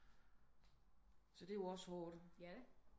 Så det er jo også hårdt